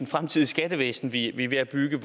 fremtidige skattevæsen vi er ved at bygge